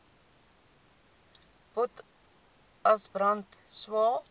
potas brand swael